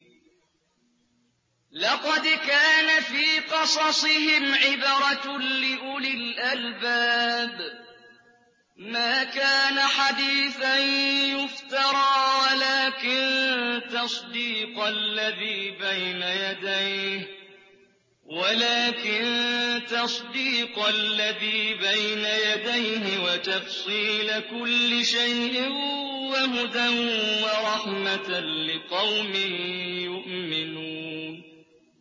لَقَدْ كَانَ فِي قَصَصِهِمْ عِبْرَةٌ لِّأُولِي الْأَلْبَابِ ۗ مَا كَانَ حَدِيثًا يُفْتَرَىٰ وَلَٰكِن تَصْدِيقَ الَّذِي بَيْنَ يَدَيْهِ وَتَفْصِيلَ كُلِّ شَيْءٍ وَهُدًى وَرَحْمَةً لِّقَوْمٍ يُؤْمِنُونَ